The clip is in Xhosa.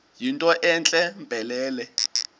yinto entle mpelele